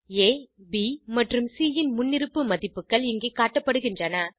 ஆ ப் மற்றும் சி ன் முன்னிருப்பு மதிப்புகள் இங்கே காட்டப்படுகின்றன